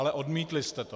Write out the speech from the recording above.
Ale odmítli jste to.